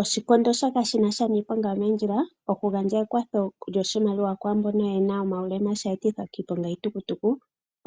Oshikondo shoka shinasha niiponga yomoondjila, okugandja ekwatho yoshimaliwa kwaambono yena omaulema sheetithwa kiiponga yiitukutuku,